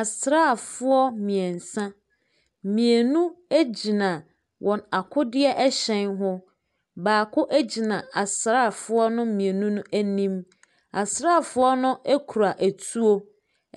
Asraafoɔ mmeɛnsa, mmienu egyina wɔn akodeɛ ɛhyɛn ho, baako egyina asraafoɔ no mmienu no anim. Asraafoɔ no ekura etuo,